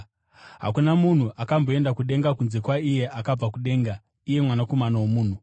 Hakuna munhu akamboenda kudenga kunze kwaiye akabva kudenga, iye Mwanakomana woMunhu.